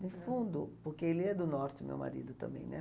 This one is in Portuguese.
De fundo, porque ele é do norte, o meu marido também, né?